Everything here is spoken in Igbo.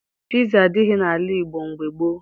Piza adịghị n'ala Igbo mgbe gboo